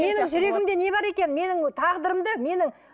менің жүрегімде не бар екенін менің тағдырымды менің